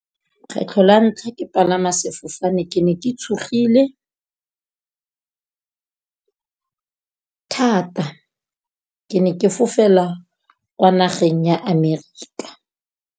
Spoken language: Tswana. Kgetlho la ntlha ke palama sefofane ke ne ke tshogile thata. Ke ne ke fofela kwa nageng ya Amerika.